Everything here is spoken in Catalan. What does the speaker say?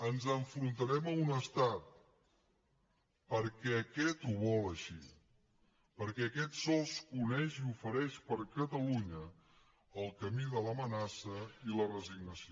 ens enfrontarem a un estat perquè aquest ho vol així perquè aquest sols coneix i ofereix per a catalunya el camí de l’amenaça i la resignació